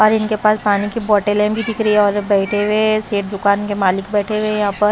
और इनके पास पानी की बोटलें भी दिख रही है और बैठे हुए सेठ दुकान के मालिक बैठे हुए हैं यहाँ पर --